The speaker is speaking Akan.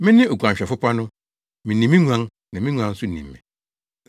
“Mene oguanhwɛfo pa no. Minim me nguan na me nguan nso nim me,